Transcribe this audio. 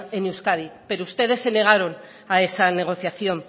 en euskadi pero ustedes se negaron a esa negociación